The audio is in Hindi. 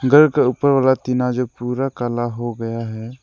पेड़ के ऊपर वाला टीन आज पूरा कला हो गया है।